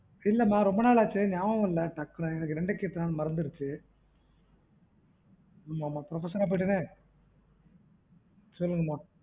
இல்ல மா ரொம்ப நாள் ஆச்சி நியாபகம் இல்லஎனக்கு இரண்டாயிரத்து எட்டுலாம் மறந்துடு எனக்கு என்ன பண்ண profocesser போயிட்டனே சொல்லுங்கமா